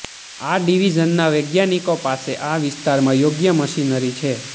આ ડિવિઝનના વૈજ્ઞાનિકો પાસે આ વિસ્તારમાં યોગ્ય મશીનરી છે